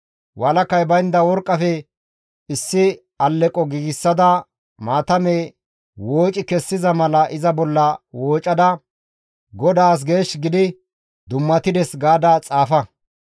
Walakay baynda worqqafe issi alleqo giigsada maatame wooci kessiza mala iza bolla woocada, ‹GODAAS geesh gidi dummatides› gaada xaafa.